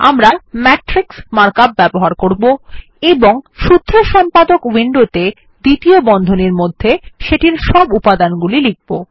আমরা matrix mark up ব্যবহার করবো এবং সূত্র সম্পাদক উইন্ডোত়ে দ্বিতীয় বন্ধনীর মধ্যে সেটির সব উপাদানগুলি লিখব